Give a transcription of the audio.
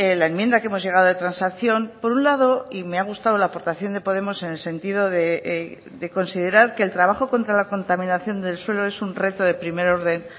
la enmienda que hemos llegado de transacción por un lado y me ha gustado la aportación de podemos en el sentido de considerar que el trabajo contra la contaminación del suelo es un reto de primer orden